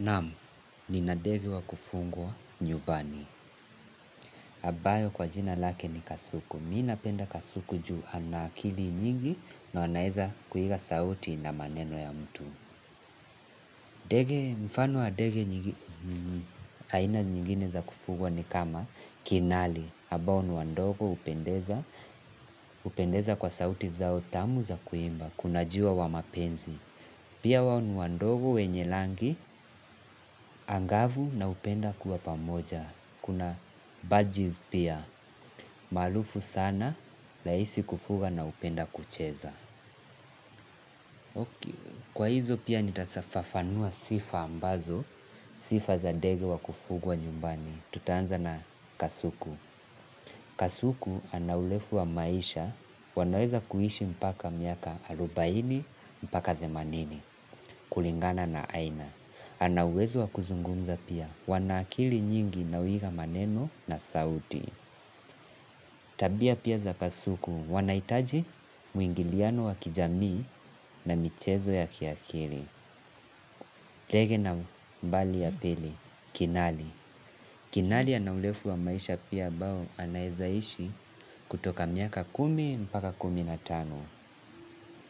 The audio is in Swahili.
Namu, nina dege wa kufungwa nyubani. Abayo kwa jina lake ni kasuku. Mi napenda kasuku ju ana akili nyingi na anaeza kuiga sauti na maneno ya mtu. Mfano wa dege aina nyingine za kufugwa ni kama kinali. Abao ni wadogo upendeza kwa sauti zao tamu za kuimba. Kuna jiwa wa mapenzi. Pia wao ni wadogo wenye langi, angavu na hupenda kuwa pamoja. Kuna badges pia, maalufu sana, laisi kufuga na hupenda kucheza. Kwa hizo pia nitasafafanua sifa ambazo, sifa za dege wa kufugwa nyumbani. Tutaanza na kasuku. Kasuku ana ulefu wa maisha, wanaweza kuishi mpaka miaka arubaini, mpaka themanini, kulingana na aina. Ana uwezo wa kuzungumza pia, wana akili nyingi na huiga maneno na sauti. Tabia pia za kasuku, wanaitaji mwingiliano wa kijamii na michezo ya kiakili. Dege nambali ya pili, kinali. Kinali ana ulefu wa maisha pia abao anaezaishi kutoka miaka kumi mpaka kumi na tano.